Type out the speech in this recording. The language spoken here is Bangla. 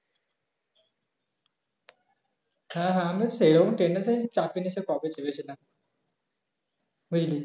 হ্যাঁ হ্যাঁ আমি সেরকম train এতে চাপিনি সে কবে চেপেছিলাম বুঝলি